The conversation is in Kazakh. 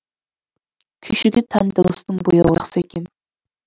күйшіге тән дыбыстың бояуы жақсы екен